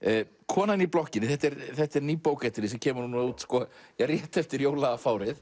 konan í blokkinni þetta er þetta er ný bók eftir þig sem kemur út rétt eftir